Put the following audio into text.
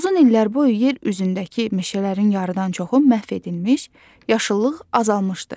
Uzun illər boyu yer üzündəki meşələrin yarıdan çoxu məhv edilmiş, yaşıllıq azalmışdı.